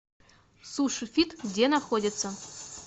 суши фит где находится